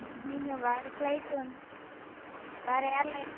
நீங்க வேற flight வந்து வேற airline